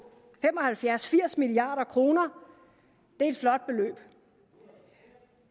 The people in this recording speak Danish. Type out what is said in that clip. fem og halvfjerds til firs milliard kroner det er et flot beløb